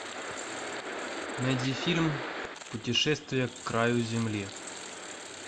найди фильм путешествие к краю земли